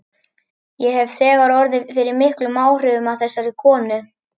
Ég hef þegar orðið fyrir miklum áhrifum af þessari konu.